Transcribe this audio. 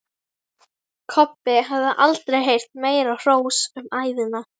Kobbi hafði aldrei heyrt meira hrós um ævina.